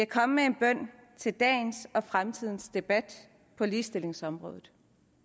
komme med en bøn til dagens og fremtidens debat på ligestillingsområdet